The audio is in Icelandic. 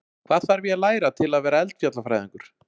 Hvað þarf ég að læra til þess að vera eldfjallafræðingur?